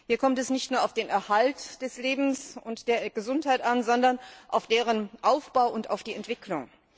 Hier kommt es nicht nur auf den Erhalt des Lebens und der Gesundheit an, sondern auf deren Aufbau und auf die Entwicklung.